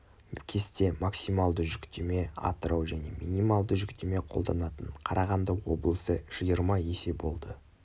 кесте максималды жүктеме атырау және минималды жүктеме қолданатын қарағанды облысы жиырма есе болды